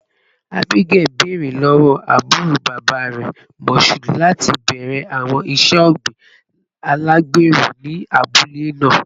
Abigail, beere lọwọ aburo baba rẹ, Mashood, lati bẹrẹ awọn iṣe ogbin alagbero ni abule naa